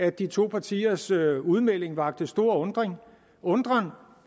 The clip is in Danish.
at de to partiers udmelding vakte stor undren undren